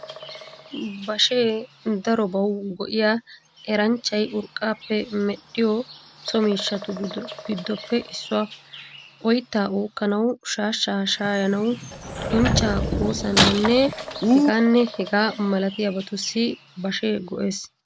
Bashee darobawu go'iya, eranchchay urqqaappe medhdhiyo so miishshatu giddoppe issuwaa . Oyttaa uukkanawu, shaashshaa shaayanawu, uncccaa koosanawunne hegaanne hegaa malabatussi bashee go"ees.